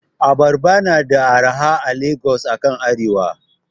Abarba na da arha a Lagos akan arewa.